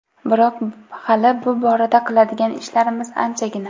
Biroq hali bu borada qiladigan ishlarimiz anchagina.